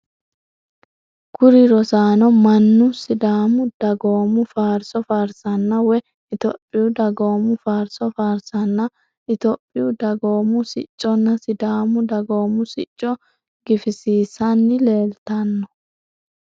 Kuri rosaano mannu sidaamu dagoomu faarso faarsanna woye ittophiyuu dagoomu faarso faarsanna itophiyuu dagoomu sicconna sidaamu dagoomu sicco gifisiissanni leeltanno.